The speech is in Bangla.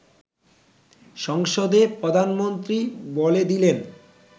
সংসদে প্রধানমন্ত্রী বলে দিলেন